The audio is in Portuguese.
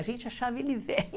A gente achava ele